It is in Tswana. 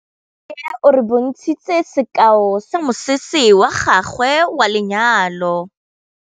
Nnake o re bontshitse sekaô sa mosese wa gagwe wa lenyalo.